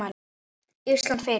Ísland fyrir